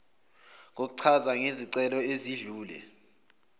kokuchaza ngezicelo ezedlule